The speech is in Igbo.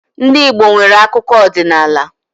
Ndị Igbo nwere akụkọ ọdinaala.